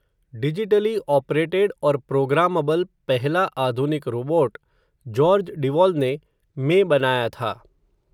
digitally operated और programmable पेहला आधुनिक रोबोट, जॉर्ज डिवॉल ने, में बनाया था